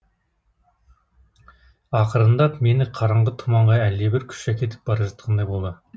ақырындап мені қараңғы тұманға әлдебір күш әкетіп бара жатқандай болды